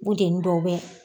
Bunteni dɔw bɛ